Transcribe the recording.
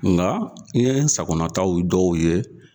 Nga n ye sagonataw dɔw ye